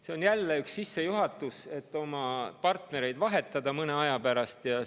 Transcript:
See on jälle üks sissejuhatus, et oma partnereid mõne aja pärast vahetada.